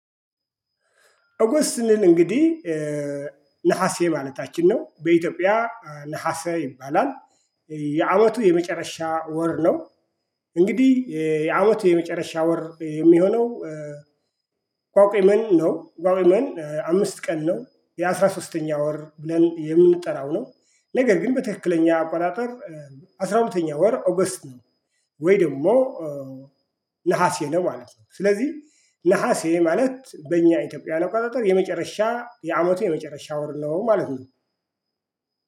ኦገስት ስንል እንግዲህ ነሀሴ ማለታችን ነው በኢትዮጵያ ነሀሴ ይባላል የአመቱ የመጨረሻ ወር ነው። እንግዲህ የአመቱ የመጨረሻ ወር የሚሆነው። ቋቋም ነው ቋቋም አምስት ቀን ነው የአሥራ ሶስተኛ ወር ብለን የምንጠራው ነው። ነገር ግን በትክክለኛ አቋራጠር አስራ ሁለተኛ ወር ኦገስት ነው። ወይ ደግሞ ነሀሴ ነው ማለት ነው። ስለዚህ ነሀሴ ማለት በእኛ ኢትዮጵያን አቆጣጠር የመጨረሻ የአመቱ የመጨረሻ ወር ነው ማለት ነው